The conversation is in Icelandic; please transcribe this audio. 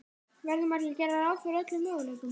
Verður maður ekki að gera ráð fyrir öllum möguleikum?